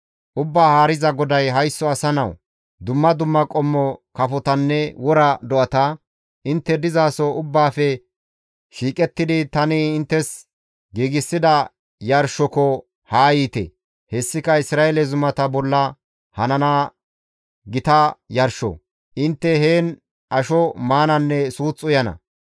«Ubbaa Haariza GODAY, ‹Haysso asa nawu! Dumma dumma qommo kafotanne wora do7ata: intte dizaso ubbaafe shiiqettidi tani inttes giigsida yarshoko haa yiite; hessika Isra7eele zumata bolla hanana gita yarsho; intte heen asho maananne suuth uyana.